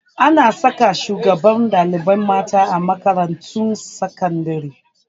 Ana saka shugabar ɗalibai mata a makarantun sakandare